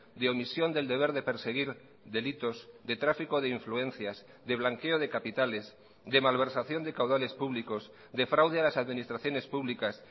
de omisión del deber de perseguir delitos de tráfico de influencias de blanqueo de capitales de malversación de caudales públicos de fraude a las administraciones públicas